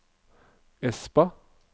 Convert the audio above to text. Espa